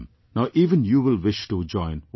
Now even you will wish to join one of them